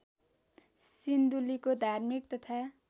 सिन्धुलीको धार्मिक तथा